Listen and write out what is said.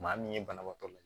Maa min ye banabaatɔ ye